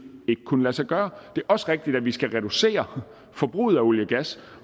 ikke kunne lade sig gøre det er også rigtigt at vi skal reducere forbruget af olie og gas